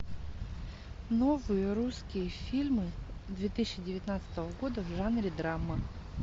новые русские фильмы две тысячи девятнадцатого года в жанре драма